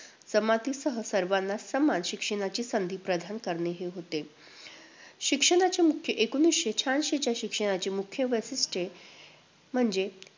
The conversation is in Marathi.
जमातींसह सर्वांना समान शिक्षणाची संधी प्रदान करणे हे होते. शिक्षणाचे मुख्य एकोणवीसशे शहाऐंशीच्या शिक्षणाचे मुख्य वैशिष्ट्ये म्हणजे